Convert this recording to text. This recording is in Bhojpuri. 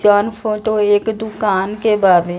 जोवन फोटो एक दुकान के बाने।